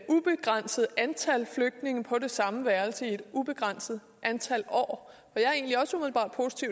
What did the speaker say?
ubegrænset antal flygtninge på det samme værelse i et ubegrænset antal år